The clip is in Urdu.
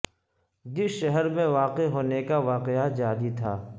جس شہر میں واقع ہونے کا واقعہ جعلی تھا